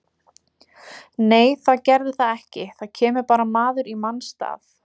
Nei það gerði það ekki, það kemur bara maður í manns stað.